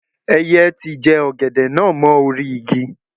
Ẹyẹ ti jẹ ọ̀gẹ̀dẹ̀ náà mọ́ orí-igi.